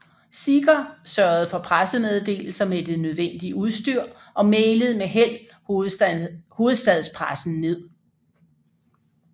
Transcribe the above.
Seeger sørgede for pressemeddelelser med det nødvendige udstyr og mailede med held hovedstadspressen ned